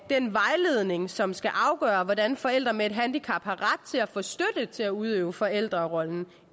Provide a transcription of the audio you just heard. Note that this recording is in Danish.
den vejledning som skal afgøre hvordan forældre med handicap har ret til at få støtte til at udøve forældrerollen